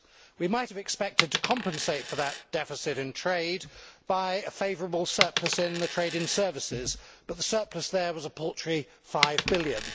We might have expected to compensate for that deficit in trade by a favourable surplus in the trade in services, but the surplus there was a paltry EUR 5 billion.